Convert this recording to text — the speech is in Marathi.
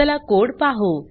चला कोड पाहु